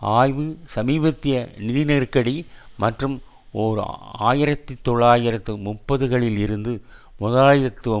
ஆய்வு சமீபத்திய நிதி நெருக்கடி மற்றும் ஓர் ஆயிரத்தி தொள்ளாயிரத்து முப்பதுகளில் இருந்து முதலாளித்துவ